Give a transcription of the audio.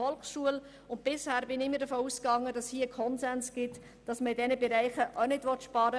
Ich bin immer davon ausgegangen, dass ein Konsens besteht, in diesen Bereichen nicht zu sparen.